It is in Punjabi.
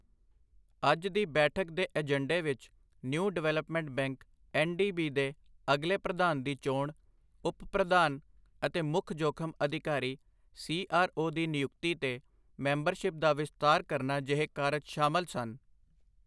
ਅੱਜ ਦੀ ਬੈਠਕ ਦੇ ਏਜੰਡੇ ਵਿੱਚ ਨਿਊ ਡਿਵੈਲਪਮੈਂਟ ਬੈਂਕ ਐੱਨਡੀਬੀ ਦੇ ਅਗਲੇ ਪ੍ਰਧਾਨ ਦੀ ਚੋਣ, ਉਪ ਪ੍ਰਧਾਨ ਅਤੇ ਮੁੱਖ ਜੋਖ਼ਮ ਅਧਿਕਾਰੀ ਸੀਆਰਓ ਦੀ ਨਿਯੁਕਤੀ ਤੇ ਮੈਂਬਰਸ਼ਿਪ ਦਾ ਵਿਸਤਾਰ ਕਰਨਾ ਜਿਹੇ ਕਾਰਜ ਸ਼ਾਮਲ ਸਨ।